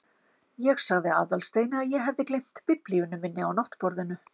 Ég sagði Aðalsteini að ég hefði gleymt biblíunni minni á náttborðinu.